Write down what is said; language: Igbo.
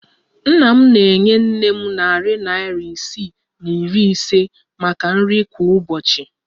Nna m na-enye nne m narị naịra isii na iri ise maka nri kwa ụbọchị.